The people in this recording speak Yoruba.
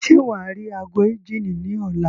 Ṣé wàá rí ago ìjíni ní ọ̀la?